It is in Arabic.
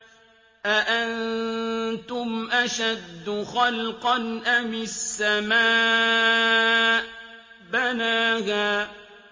أَأَنتُمْ أَشَدُّ خَلْقًا أَمِ السَّمَاءُ ۚ بَنَاهَا